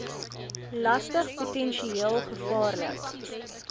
lastig potensieel gevaarlik